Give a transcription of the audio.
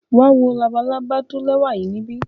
Wa wo labalaba lẹwa yii nibi.